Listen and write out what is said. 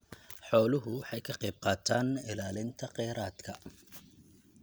Xooluhu waxay ka qaybqaataan ilaalinta kheyraadka.